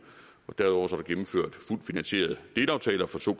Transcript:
og derudover er der gennemført fuldt finansierede delaftaler for to